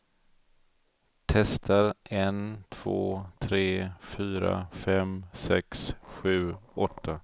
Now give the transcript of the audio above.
Testar en två tre fyra fem sex sju åtta.